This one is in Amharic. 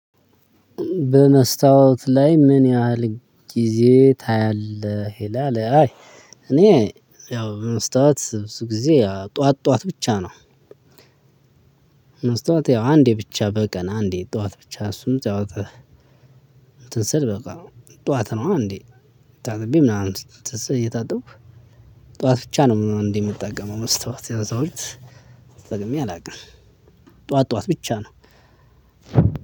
በመስታወት ላይ ምን ያህል ጊዜ ታያለህ ይላል? አይ እኔ ያው በመስታወት ብዙ ጊዜ ጠዋት ጠዋት ብቻ ነው። መስታወት ያው አንዴ ብቻ በቀን አንዴ ጠዋት ብቻ እሱም እሱም ጠዋት። እንትን ስል በቃ ጠዋት ነው አንድ ታጥቤ ምናምን እየታጠብኩ ጠዋት ብቻ ነው። እንዴ የምትጠቀመው መስታወት? ያው እዛ ውጭ ተጠቅሜ አላውቅም። ጠዋት ጠዋት ብቻ ነው።